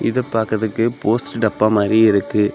இத பாக்குறதுக்கு போஸ்ட் டப்பா மாறி இருக்கு.